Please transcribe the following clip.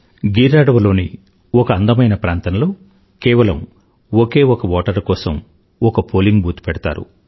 గిర్ అడవిలోని ఒక అందమైన ప్రాంతంలో కేవలం ఒకే ఒక ఓటరు కోసం ఒక పోలింగ్ బూత్ పెడతారు